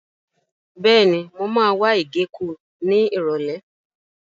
Bẹ́ẹ̀ni, mo máa wá ìgéko ní Ìrọ̀lẹ́.